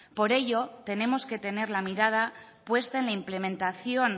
por ello tenemos que tener la mirada puesta en la implementación